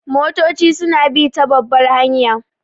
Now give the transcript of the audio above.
Motoci su na bi ta babbar hanya